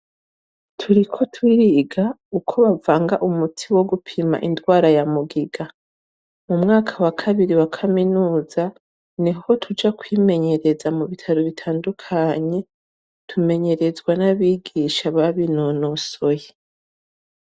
Turiko turiga uko bavanga umuti wo gupima ingwara ya mugiga. Mumwaka wa kabiri wa kaminuza niho tuja kwimenyereza mu bitaro bitandukanye. Tumenyerezwa n'abigisha babinonosoye.